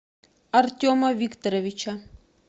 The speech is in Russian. артема викторовича